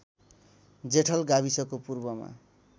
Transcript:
जेठल गाविसको पूर्वमा